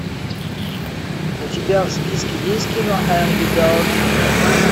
у тебя в списке есть кино энгри бердс в кино